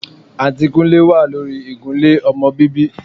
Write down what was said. Àǹtí Kúnlé wà lórí ìgúnlẹ́ ọmọ bíbí